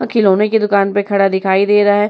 वो खिलोनों की दुकान पे खड़ा हुआ दिखाई दे रहा है।